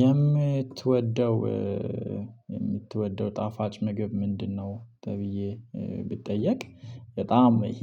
"የምትወደው የምትወደው ጣፋጭ ምግብ ምንድነው?" ተብዬ ብጠየቅ፣ በጣም ይሄ